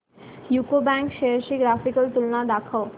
UCO bank shares ची graphical तुलना दाखव